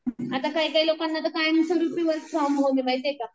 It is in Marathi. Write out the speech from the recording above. आता काही काही लोकांना तर कायमस्वरूपी वर्क फ्रॉम होम ये माहिती ये का.